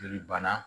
Joli bana